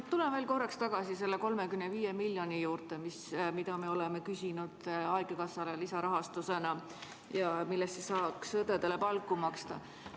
Ma tulen korraks tagasi selle 35 miljoni juurde, mida me oleme küsinud lisarahastusena haigekassale ja millest saaks õdedele palka maksta.